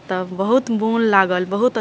तब बहुत मुन लागल बहुत --